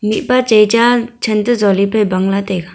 mihpa chai cha chan to jolipe bang la taiga.